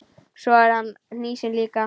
Svo er hann hnýsinn líka.